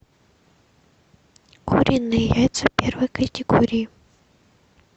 куриные яйца первой категории